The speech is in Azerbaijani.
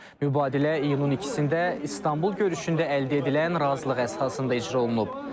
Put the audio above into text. Mübadilə iyunun ikisində İstanbul görüşündə əldə edilən razılıq əsasında icra olunub.